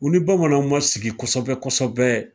U ni bamananw ma sigi kosɛbɛ kosɛbɛ